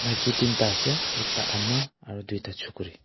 miki teen ta ase ekta ama aro tuita chukuri.